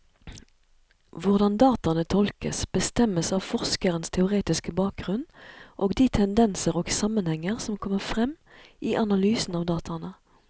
Hvordan dataene tolkes, bestemmes av forskerens teoretiske bakgrunnen og de tendenser og sammenhenger som kommer frem i analysen av dataene.